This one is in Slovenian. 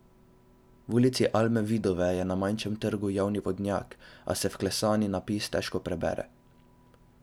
V Ulici Alme Vivode je na manjšem trgu javni vodnjak, a se vklesani napis težko prebere.